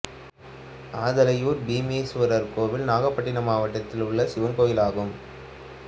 ஆதலையூர் பீமேசுவரர் கோயில் நாகப்பட்டினம் மாவட்டத்தில் உள்ள சிவன் கோயிலாகும்